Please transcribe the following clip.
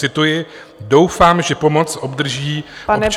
Cituji: Doufám, že pomoc obdrží občané ještě...